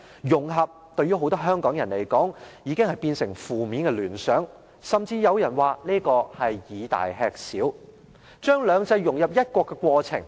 "融合"對於很多香港人來說，會引起負面的聯想，甚至有人說，這是以大吃小，將"兩制"融入"一國"的過程。